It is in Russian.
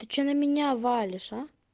ты что на меня валишь а